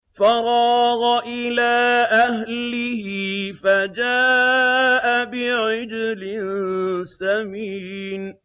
فَرَاغَ إِلَىٰ أَهْلِهِ فَجَاءَ بِعِجْلٍ سَمِينٍ